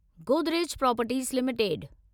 Godrej properties limited